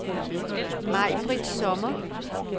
Maibritt Sommer